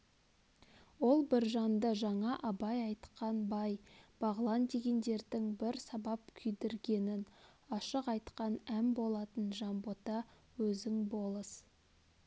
ол біржанды жаңа абай айтқан бай бағлан дегендердің бір сабап күйдргенін ашық айтқан ән болатын жанбота өзің болыс